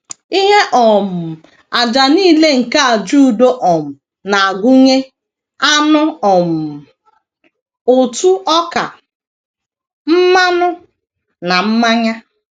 Ihe um àjà nile nke àjà udo um na - agụnye anụ um, ụtụ ọka, mmanụ, na mmanya.